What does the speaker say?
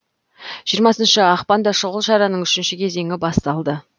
жиырмасыншы ақпанда шұғыл шараның үшінші кезеңі басталды